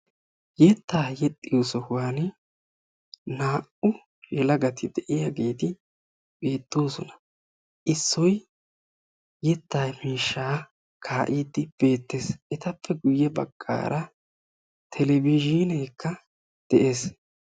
yetaa yexxiyo sohuwani naa"u yelagati de'iyaagetti beetoosona. Issoy yetaa miishshaa kaa'iidi beettes. Ettappe guye bagaara televizhiineekka de'ees.